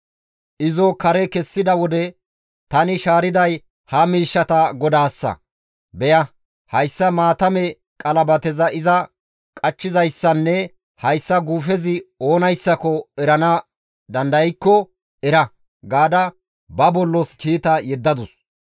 Izo kare kessiza wode, «Tani shaariday ha miishshata godaassa; beya; hayssa maatame qalabateza iza qachchizayssanne hayssi guufezi oonayssako erana dandaykko era» gaada ba bollos kiita yeddadus.